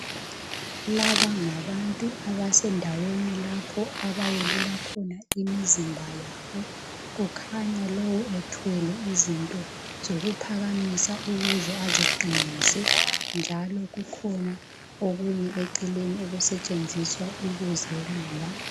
Laba ngabantu abasendaweni lapho abayelula khona imizimba yabo. Kukhanya lowu ethwele izinto zokuphakamisa ukuze aziqinise njalo kukhona okunye eceleni okusetshenziswa ukuzelula.